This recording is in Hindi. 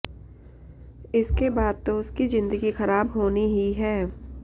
इसके बाद तो उसकी जिंदगी खराब होनी ही है